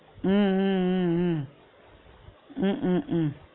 உம் உம் உம் உம் ஹம் ஹம் ஹம்